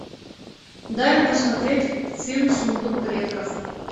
дай мне посмотреть фильм сундук предков